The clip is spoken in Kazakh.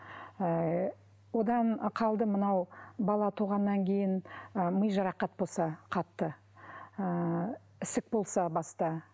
ы одан қалды мынау бала туғаннан кейін ы ми жарақат болса қатты ыыы ісік болса баста